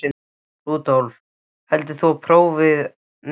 Rúdólf, hefur þú prófað nýja leikinn?